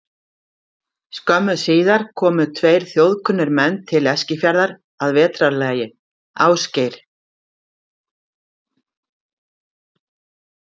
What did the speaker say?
Skömmu síðar komu tveir þjóðkunnir menn til Eskifjarðar að vetrarlagi, Ásgeir